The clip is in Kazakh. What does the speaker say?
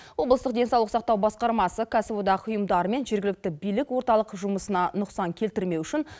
облыстық денсаулық сақтау басқармасы кәсіподақ ұйымдар мен жергілікті билік орталық жұмысына нұқсан келтірмеу үшін